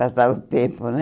Passava o tempo, né?